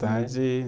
Tarde